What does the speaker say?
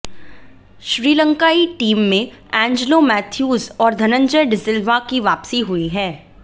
श्रीलंकाई टीम में Angelo Mathews और धनंजय डिसिल्वा की वापसी हुई है